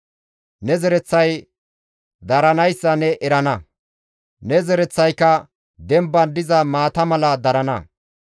Ne zereththay daranayssa ne erana; ne zereththayka demban diza maata mala darana.